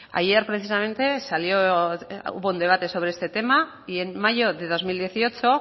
ayer precisamente salió hubo un debate sobre este tema y en mayo de dos mil dieciocho